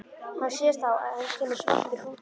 Hann sér þá að inn kemur svartur hrútur.